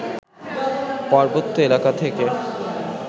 পার্বত্য এলাকা থেকে